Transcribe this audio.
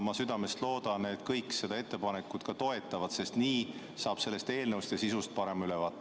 Ma südamest loodan, et kõik seda ettepanekut toetavad, sest nii saate sellest eelnõust ja sisust parema ülevaate.